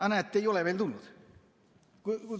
Aga näete, seda ei ole veel tulnud.